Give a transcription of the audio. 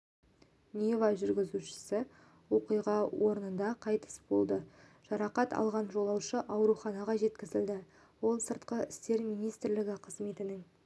нива жүргізушісі оқиға орнында қайтыс болды жарақат алған жолаушы ауруханаға жеткізілді ол сыртқы істер министрлігі қызметінің